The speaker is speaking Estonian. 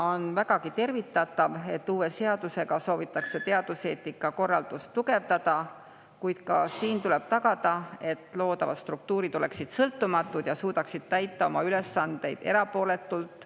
On vägagi tervitatav, et uue seadusega soovitakse teaduseetika korraldust tugevdada, kuid tuleb ka tagada, et loodavad struktuurid oleksid sõltumatud ja suudaksid täita oma ülesandeid erapooletult …